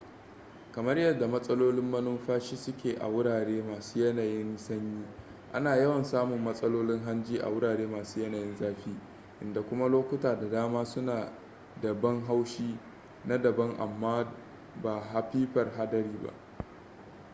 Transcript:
kamar yadda matsalolin manumfashi suke a wurare masu yanayin sanyi ana yawan samun matsalolin hanji a wurare masu yanayin zafi inda kuma lokuta da dama suna da ban haushi na daban amma ba hapipar haɗari ba